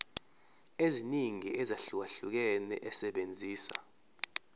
eziningi ezahlukahlukene esebenzisa